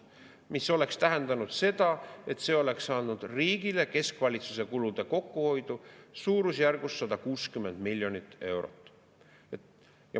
Mis oleks tähendanud seda, et see oleks andnud riigile keskvalitsuse kulude kokkuhoidu suurusjärgus 160 miljonit eurot.